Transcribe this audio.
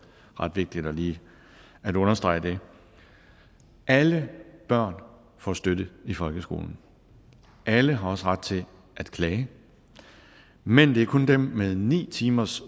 ret vigtigt lige at understrege det alle børn får støtte i folkeskolen alle har også ret til at klage men det er kun dem med ni timers